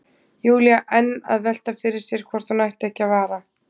Júlía enn að velta fyrir sér hvort hún ætti ekki að vara